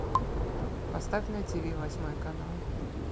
поставь на тв восьмой канал